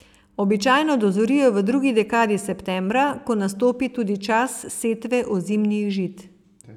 Običajno dozorijo v drugi dekadi septembra, ko nastopi tudi čas setve ozimnih žit.